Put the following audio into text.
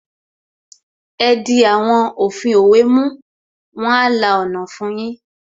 Ẹ di àwọn òfin òwe mú, wọn a la ọ̀nà fun yín